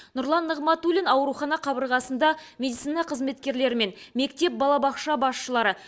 нұрлан нығматулин аурухана қабырғасында медицина қызметкерлерімен мектеп балабақша басшылары